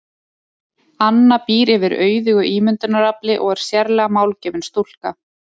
Anna býr yfir auðugu ímyndunarafli og er sérlega málgefin stúlka.